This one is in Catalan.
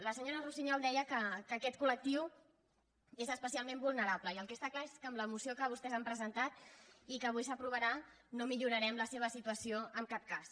la senyora russiñol deia que aquest col·lectiu és especialment vulnerable i el que està clar és que amb la moció que vostès han presentat i que avui s’aprovarà no millorarem la seva situació en cap cas